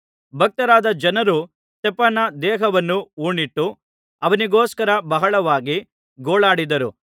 ಭಕ್ತರಾದ ಜನರು ಸ್ತೆಫನನ ದೇಹವನ್ನು ಹೂಣಿಟ್ಟು ಅವನಿಗೋಸ್ಕರ ಬಹಳವಾಗಿ ಗೋಳಾಡಿದರು